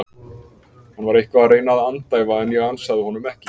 Hann var eitthvað að reyna að andæfa en ég ansaði honum ekki.